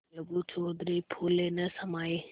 अलगू चौधरी फूले न समाये